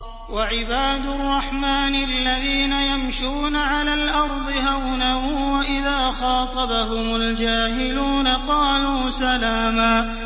وَعِبَادُ الرَّحْمَٰنِ الَّذِينَ يَمْشُونَ عَلَى الْأَرْضِ هَوْنًا وَإِذَا خَاطَبَهُمُ الْجَاهِلُونَ قَالُوا سَلَامًا